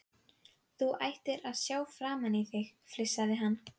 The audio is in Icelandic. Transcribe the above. Þú ættir að sjá framan í þig! flissaði hann.